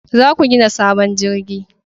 Za ku gina sabon jirgi